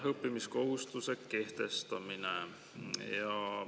Õppimiskohustuse kehtestamine.